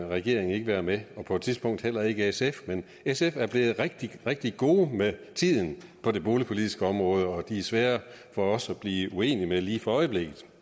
regeringen ikke være med og på et tidspunkt heller ikke sf men sf er blevet rigtig rigtig gode med tiden på det boligpolitiske område og de er svære for os at blive uenige med lige for øjeblikket